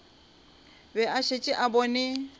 be a šetše a bone